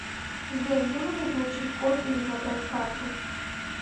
сбер где можно получить код или забрать карту